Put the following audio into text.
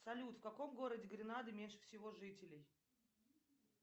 салют в каком городе гренады меньше всего жителей